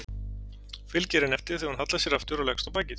Fylgir henni eftir þegar hún hallar sér aftur og leggst á bakið.